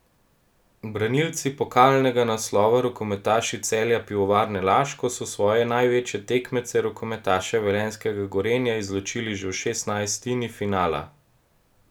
Branilci pokalnega naslova, rokometaši Celja Pivovarne Laško, so svoje največje tekmece, rokometaše velenjskega Gorenja izločili že v šestnajstini finala.